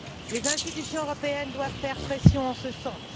Les institutions européennes doivent faire pression en ce sens.